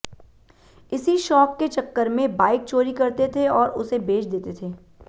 इसी शौक के चक्कर में बाइक चोरी करते थे और उसे बेच देते थे